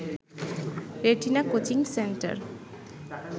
retina coaching centre